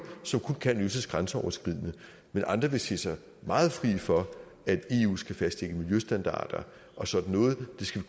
som kun kan løses grænseoverskridende mens andre vil sige sig meget fri for at eu skal fastlægge miljøstandarder og sådan noget det skal